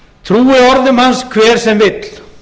trúi orðum hans hver sem vill